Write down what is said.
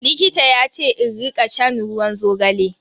Likita yace in rika shan ruwan zogale.